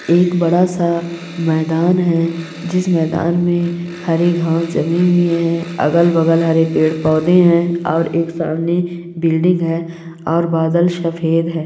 एक बड़ा सा मैदान है। जिस मैदान में हरी घांस जमी हुई है। अगल बगल हरे पेड़ पौधे है। और एक सामने बिल्डिंग है। और बादल सपेद है।